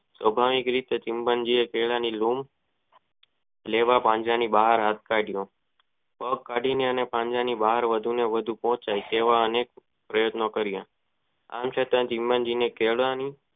સ્વભાવિક ઇતે ચિંપાંઝીયે કેળા ની લૂમ લેવા પાંજરા ની બહાર હાથ કાળિયો પગ કદી ને વધુ માં વધુ પોંચે વા તેવા પ્રયતો નો કારિયા